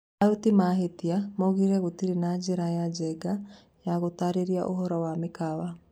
Aruti mahĩtia maugire gũtiarĩ na njĩra ya njega ya gũtarĩria ũhoro wa mĩkawa.